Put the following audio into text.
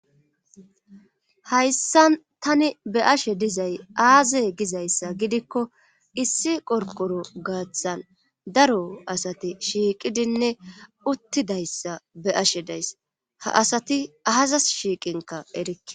Hayssa tani be ashe dizay aaze gizayssa gidikko issi qorqoro gaaththan daro asati shiiqidinne uttidayssa be ashe days ha asati aazas shiiqinka erikke.